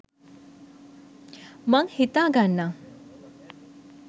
මං හිතා ගන්නම්